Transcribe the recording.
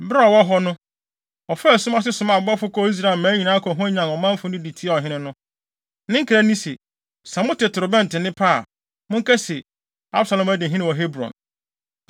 Bere a ɔwɔ hɔ no, ɔfaa sum ase somaa abɔfo kɔɔ Israel mmaa nyinaa kɔhwanyan ɔmanfo de tiaa ɔhene no. Ne nkra ne se, “Sɛ mote torobɛnto nne pɛ a, monka se, ‘Absalom adi hene wɔ Hebron.’ ”